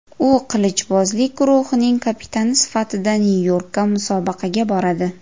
U qilichbozlik guruhining kapitani sifatida Nyu-Yorkka musobaqaga boradi.